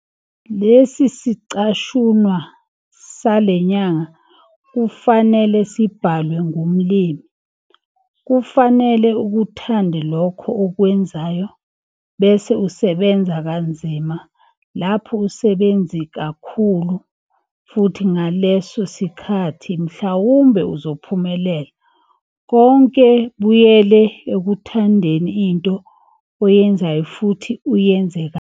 Le sicashunwa sale nyanga bekufanele sibhalwe ngumlimi - kufanele ukuthande lokho okwenzayo, bese usebenza kanzima, lapho usebenzi kakhulu, futhi ngaleso sikhathi mhlawumbe uzophumelela. Konke buyela ekuthandeni into oyenzayo futhi uyenze kahle.